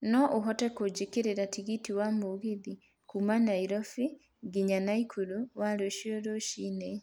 no ũhote kũjigĩra tigiti wa mũgithi kuuma Nairobi nginya naikuru wa rũcio rũcinĩ